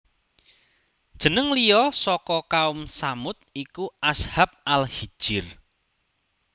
Jeneng liya saka Kaum Tsamud iku Ashab Al Hijr